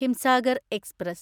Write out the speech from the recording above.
Himsagar express